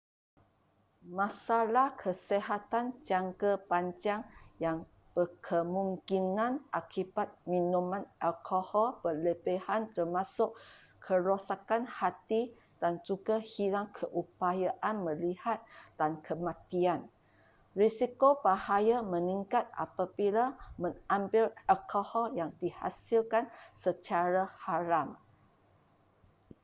masalah kesihatan jangka panjang yang berkemungkinan akibat minuman alkohol berlebihan termasuk kerosakan hati dan juga hilang keupayaan melihat dan kematian risiko bahaya meningkat apabila mengambil alkohol yang dihasilkan secara haram